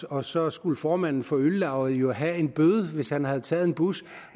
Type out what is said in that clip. og så skulle formanden for øllauget jo have en bøde hvis han havde taget en bus